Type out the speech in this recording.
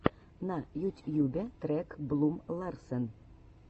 на ютьюбе трек блум ларсен